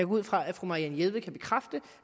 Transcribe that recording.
ud fra at fru marianne jelved kan bekræfte